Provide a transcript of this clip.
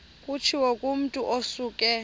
kutshiwo kumotu osuke